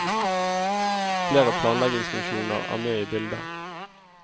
Flere planleggingsfunksjoner er med i bildet.